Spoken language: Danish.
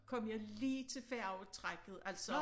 Kom jeg lige til færgetrækket altså